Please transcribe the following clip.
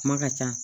Kuma ka ca